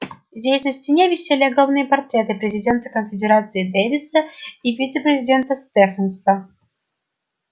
здесь на стене висели огромные портреты президента конфедерации дэвиса и вице-президента стефенса